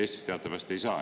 Eestis teatavasti ei saa.